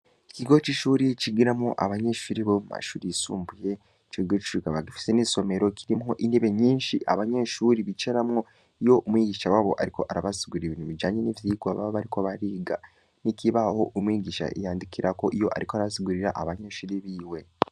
Ikigo c'ishure C'igiramwo abanyeshure Bomumashure yisumbuye, ico kigo kikaba kirimwo intebe nyishi ,abanyeshure Bicaramwo iyo umwigisha aba ariko arabasigurira ibijanye nivyigwa baba bariko bariga, n'ikibaho umwigisha yandikirako iyo ariko Arabasigurira abanyeshure biwe.